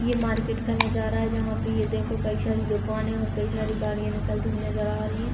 ये मार्केट का नजारा है जहाँ पे ये देखो कई शारी दुकाने और कई शारी गाड़ियां निकलती हुई नजर आ रही है।